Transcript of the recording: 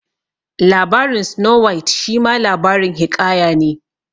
Labarin Snow White shima labarin hiƙaya ne